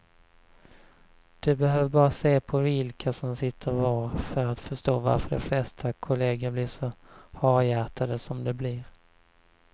Du behöver bara se på vilka som sitter var för att förstå varför de flesta kolleger blir så harhjärtade som de blir.